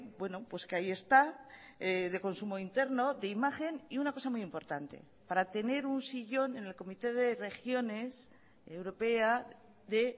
bueno pues que ahí está de consumo interno de imagen y una cosa muy importante para tener un sillón en el comité de regiones europea de